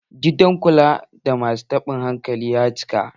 Gidan kula da masu taɓin hankali ya cika.